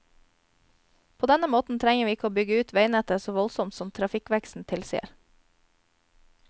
På denne måten trenger vi ikke å bygge ut veinettet så voldsomt som trafikkveksten tilsier.